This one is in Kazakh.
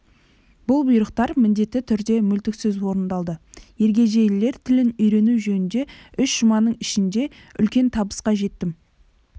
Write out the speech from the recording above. бұл бұйрықтар міндетті түрде мүлтіксіз орындалды ергежейлілер тілін үйрену жөнінде үш жұманың ішінде үлкен табысқа жеттім